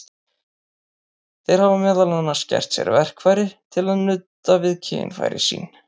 Þeir hafa meðal annars gert sér verkfæri til að nudda við kynfæri sín.